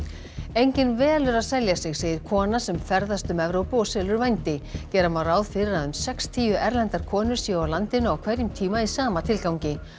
enginn velur að selja sig segir kona sem ferðast um Evrópu og selur vændi gera má ráð fyrir að um sextíu erlendar konur séu á landinu á hverjum tíma í sama tilgangi